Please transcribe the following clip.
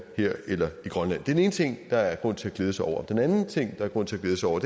her eller i grønland den ene ting der er grund til at glæde sig over den anden ting der er grund til at glæde sig over